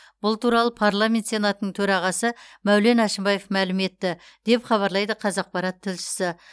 бұл туралы парламент сенатының төрағасы мәулен әшімбаев мәлім етті деп хабарлайды қазақпарат тілшісі